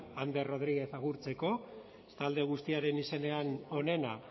ander rodriguez agurtzeko talde guztiaren izenean onena